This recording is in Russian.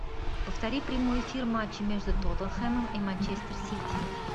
повтори прямой эфир матча между тоттенхэмом и манчестер сити